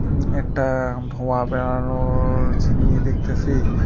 উম একটা ধোঁয়া বেরানোর চিমনি দেখতেসি।